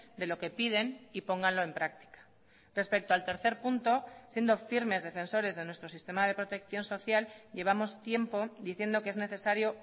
de lo que piden y pónganlo en práctica respecto al tercer punto siendo firmes defensores de nuestro sistema de protección social llevamos tiempo diciendo que es necesario